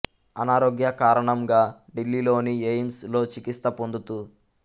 అనారోగ్య కారణం గా డిల్లీ లోని ఎయిమ్స్ లో చికిత్స పొందుతు